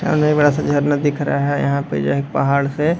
सामने एक बड़ा सा एक झरना दिख रहा है। यहाँ पे जो है एक पहाड़ से --